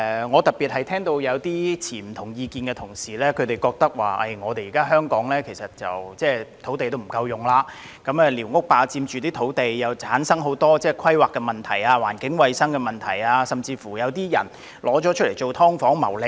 我特別聽到持不同意見的同事指出，香港現時土地不足，寮屋霸佔土地，同時產生很多規劃及環境衞生問題，甚至有人將寮屋用作"劏房"謀利。